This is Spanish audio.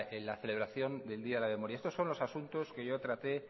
la celebración del día de la memoria estos son los asuntos que yo traté